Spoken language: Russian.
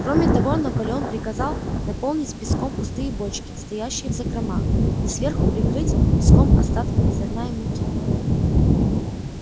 кроме того наполеон приказал наполнить песком пустые бочки стоящие в закромах и сверху прикрыть песок остатками зерна и муки